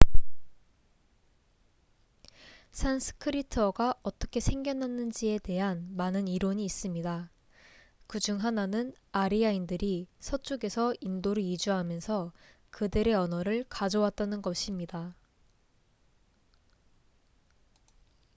산스크리트어가 어떻게 생겨났는지에 대한 많은 이론이 있습니다 그중 하나는 아리아인들이 서쪽에서 인도로 이주하면서 그들의 언어를 가져왔다는 것입니다